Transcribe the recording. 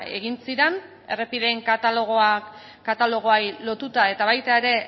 egin ziren errepideen katalogoei lotuta eta baita ere